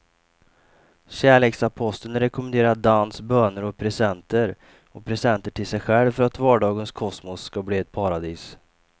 Kärleksaposteln rekommenderar dans, böner och presenter och presenter till sig själv för att vardagens kosmos ska bli ett paradis.